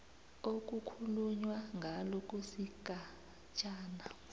okukhulunywa ngalo kusigatshana